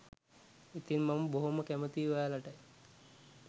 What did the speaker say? ඉතින් මම බොහොම කැමතියි ඔයාලට